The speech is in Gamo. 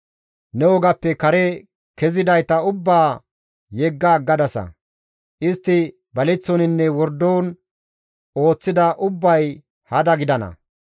Ne wogappe kare kezidayta ubbaa yegga aggadasa; istti baleththoninne wordon ooththida ubbay hada gidana.